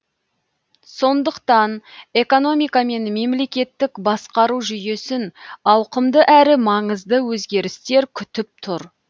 сондықтан экономика мен мемлекеттік басқару жүйесін ауқымды әрі маңызды өзгерістер күтіп тұр